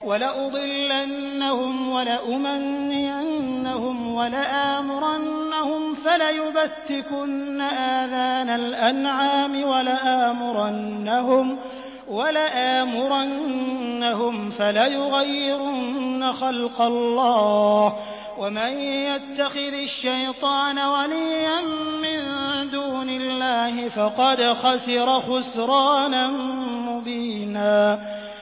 وَلَأُضِلَّنَّهُمْ وَلَأُمَنِّيَنَّهُمْ وَلَآمُرَنَّهُمْ فَلَيُبَتِّكُنَّ آذَانَ الْأَنْعَامِ وَلَآمُرَنَّهُمْ فَلَيُغَيِّرُنَّ خَلْقَ اللَّهِ ۚ وَمَن يَتَّخِذِ الشَّيْطَانَ وَلِيًّا مِّن دُونِ اللَّهِ فَقَدْ خَسِرَ خُسْرَانًا مُّبِينًا